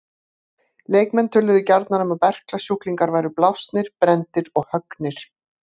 Leikmenn töluðu gjarnan um að berklasjúklingar væru blásnir, brenndir og höggnir.